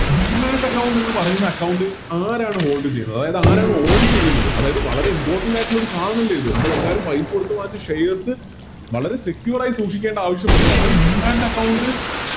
Demat account എന്ന് പറയുന്ന Account ആരാണ് Hold ചെയ്യുന്നത് അതായത് ആരാണ് On ചെയ്യുന്നത് അതായത് വളർ Important ആയിട്ടുള്ള ഒരു സാധനവല്ലേ ഇത് നമ്മളെല്ലാരും പൈസ കൊടുത്ത് വാങ്ങിച്ച Shares വളരെ Secure ആയിട്ട് സൂക്ഷിക്കേണ്ട ആവശ്യമുണ്ട് അപ്പൊ Demat account